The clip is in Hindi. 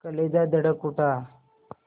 कलेजा धड़क उठा